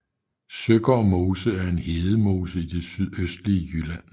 Søgård Mose er en hedemose i det sydøstlige Jylland